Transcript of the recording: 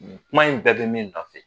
Kuma in bɛɛ bɛ min nɔfɛ.